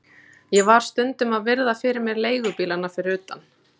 Ég var stundum að virða fyrir mér leigubílana fyrir utan